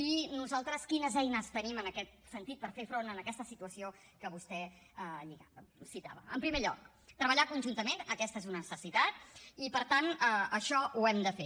i nosaltres quines eines tenim en aquest sentit per fer front a aquesta situació que vostè citava en primer lloc treballar conjuntament aquesta és una necessitat i per tant això ho hem de fer